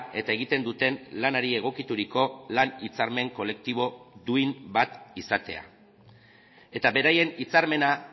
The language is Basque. eta egiten duten lanari egokituriko lan hitzarmen kolektibo duin bat izatea eta beraien hitzarmena